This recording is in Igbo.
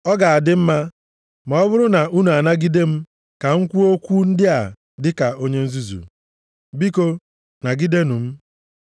Ọ ga-adị m mma ma ọ bụrụ na unu ga-anagide m ka m kwuo okwu ndị a dị ka onye nzuzu. Biko nagidenụ m.